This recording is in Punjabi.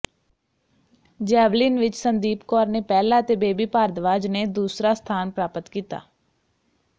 ਜੈਵਲਿਨ ਵਿੱਚ ਸੰਦੀਪ ਕੌਰ ਨੇ ਪਹਿਲਾ ਤੇ ਬੇਬੀ ਭਾਰਦਵਾਜ ਨੇ ਦੂਸਰਾ ਸਥਾਨ ਪ੍ਰਾਪਤ ਕੀਤਾ